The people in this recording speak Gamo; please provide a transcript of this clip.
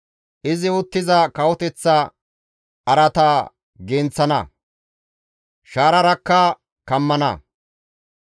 Izi uttiza kawoteththa araata genththana; shaararakka kammana.